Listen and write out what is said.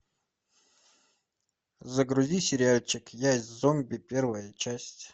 загрузи сериальчик я зомби первая часть